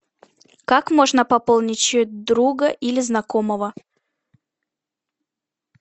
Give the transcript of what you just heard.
как можно пополнить счет друга или знакомого